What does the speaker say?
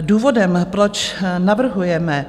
Důvodem, proč navrhujeme